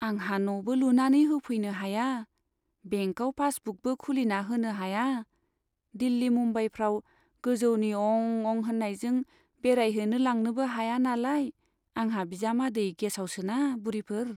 आंहा न'बो लुनानै होफैनो हाया, बेंकआव पासबुकबो खुलिना होनो हाया, दिल्ली मुम्बाइफ्राव गोजौनि अं अं होन्नायजों बेरायहैनो लांनोबो हाया नालाय आंहा बिजामादै गेसावसोना बुरिफोर ?